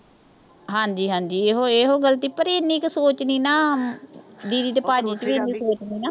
ਹਾਂਜੀ-ਹਾਂਜੀ, ਇਹੋ ਇਹੋ ਗਲਤੀ। ਪਰ ਇੰਨੀ ਕੁ ਸੋਚ ਨੀਂ ਨਾ। didi ਤੇ ਭਾਜੀ ਸੀਗੇ ਉਹੀ ਸੋਚਦੇ ਨੇ